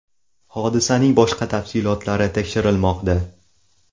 Hodisaning boshqa tafsilotlari tekshirilmoqda.